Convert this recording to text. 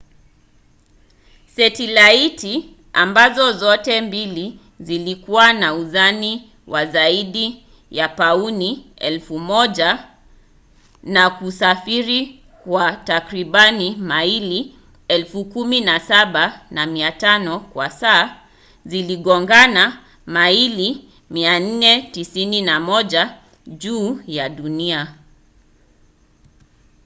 setilaiti ambazo zote mbili zilikuwa na uzani wa zaidi ya pauni 1,000 na kusafiri kwa takribani maili 17,500 kwa saa ziligongana maili 491 juu ya dunia